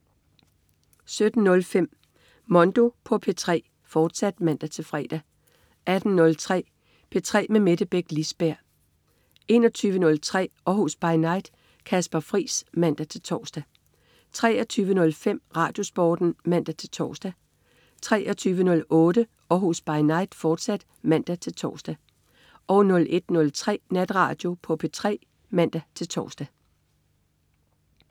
17.05 Mondo på P3, fortsat (man-fre) 18.03 P3 med Mette Beck Lisberg 21.03 Århus By Night. Kasper Friis (man-tors) 23.05 RadioSporten (man-tors) 23.08 Århus By Night, fortsat (man-tors) 01.03 Natradio på P3 (man-tors)